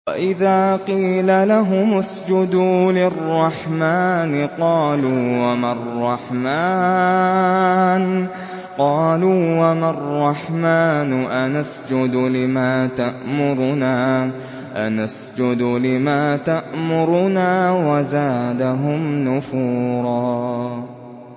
وَإِذَا قِيلَ لَهُمُ اسْجُدُوا لِلرَّحْمَٰنِ قَالُوا وَمَا الرَّحْمَٰنُ أَنَسْجُدُ لِمَا تَأْمُرُنَا وَزَادَهُمْ نُفُورًا ۩